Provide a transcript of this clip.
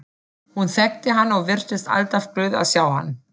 Hún þekkti hann og virtist alltaf glöð að sjá hann.